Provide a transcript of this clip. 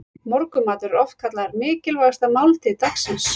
Morgunmatur er oft kallaður mikilvægasta máltíð dagsins.